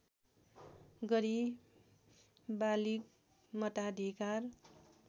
गरी बालिग मताधिकार